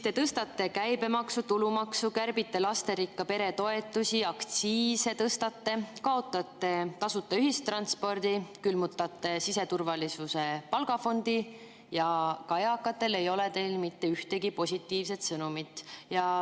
Te tõstate käibemaksu, tulumaksu, kärbite lasterikka pere toetusi, tõstate aktsiise, kaotate tasuta ühistranspordi, külmutate siseturvalisuse palgafondi ja ka eakatele ei ole teil mitte ühtegi positiivset sõnumit.